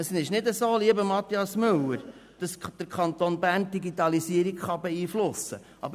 Es ist nicht so, lieber Grossrat Mathias Müller, dass der Kanton Bern die Digitalisierung beeinflussen könnte.